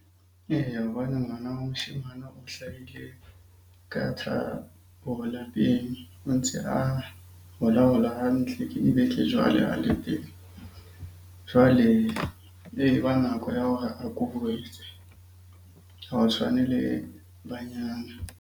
Eya, hobane ngwana wa moshemane o hlahile lapeng o ntse a hola-hola hantle. Ke dibeke jwale a le teng. Jwale e ba nako ya hore a . Ha ho tshwane le banyana.